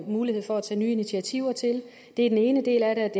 mulighed for at tage nye initiativer til det er den ene del af